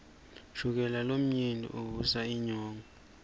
shukela lomnengi uvusa inyongo